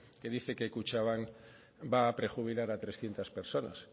que dice que kutxabank va a prejubilar a trescientos personas